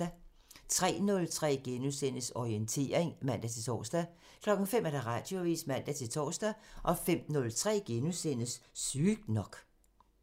03:03: Orientering *(man-tor) 05:00: Radioavisen (man-søn) 05:03: Sygt nok *